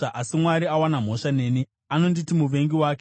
Asi Mwari awana mhosva neni; anonditi muvengi wake.